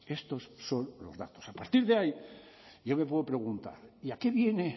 estos son los datos a partir de ahí yo me puedo preguntar y a qué viene